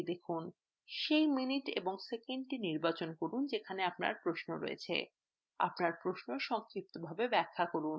সেই minute এবং সেকেন্ডটি নির্বাচন করুন যেখানে আপনার প্রশ্ন আছে